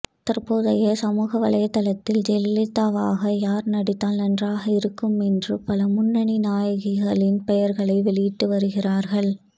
தற்போதே சமூக வலைதளத்தில் ஜெயலலிதாவாக யார் நடித்தால் நன்றாக இருக்கும் என்று பல முன்னணி நாயகிகளின் பெயர்களை வெளியிட்டு வருகிறார்கள்